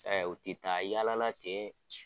u ti taa yaala la ten